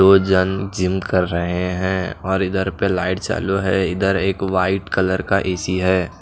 दो जन जिम कर रहे हैं और इधर पे लाइट चालु है इधर एक व्हाइट कलर ए_सी है।